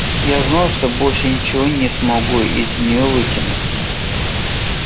я знал что больше ничего не смогу из неё вытянуть